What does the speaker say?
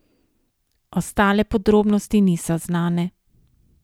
Ostale podrobnosti niso znane.